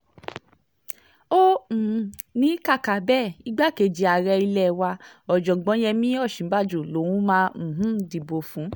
ó um ní kàkà bẹ́ẹ̀ igbákejì ààrẹ ilé wa ọ̀jọ̀gbọ́n yemí òsínbàjò lòún máa um dìbò fún